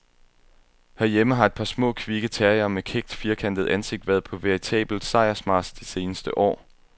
Herhjemme har et par små, kvikke terriere med kækt, firkantet ansigt været på veritabel sejrsmarch de seneste år.